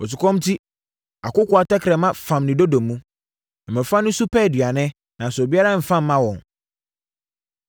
Osukɔm enti, akokoaa tɛkrɛma fam ne dodo mu; mmɔfra no su pɛ aduane, nanso obiara mfa mma wɔn.